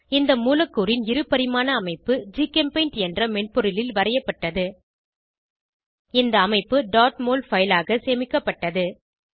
இந்த மூலக்கூறின் இருபரிமாண அமைப்பு ஜிகெம்பெய்ண்ட் என்ற மென்பொருளில் வரையப்பட்டது இந்த அமைப்பு mol பைல் ஆக சேமிக்கப்பட்டது